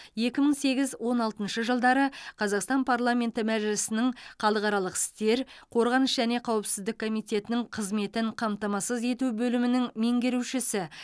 екі мың сегіз он алтыншы жылдары қазақстан парламенті мәжілісінің халықаралық істер қорғаныс және қауіпсіздік комитетінің қызметін қамтамасыз ету бөлімінің меңерушісі